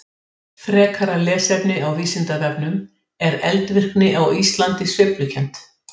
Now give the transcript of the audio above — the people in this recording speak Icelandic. En miklu fleiri þjóðir tóku þátt í stríðinu.